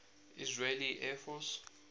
israeli air force